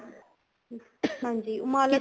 ਹਾਂਜੀ ਉਹ ਮਾਲਕ